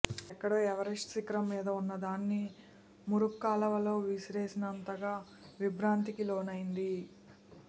ఎక్కడో ఎవరెస్ట్ శిఖరం మీద వున్నదాన్ని మురుక్కాలవలో విసిరేసినంతగా విభ్రాంతికి లోనైంది